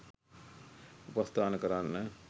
උපස්ථාන කරන්න